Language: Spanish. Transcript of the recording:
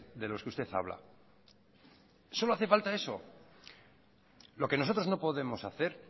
de los que usted habla solo hace falta eso lo que nosotros no podemos hacer